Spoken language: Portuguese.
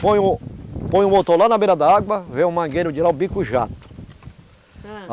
Põe o põe o motor lá na beira da água, vê o mangueiro de lá, o bico jato. ãh